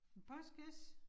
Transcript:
En postkasse